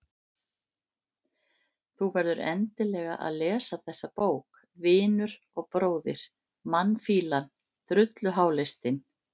Þú verður endilega að lesa þessa bók, vinur og bróðir, mannfýlan, drulluháleistinn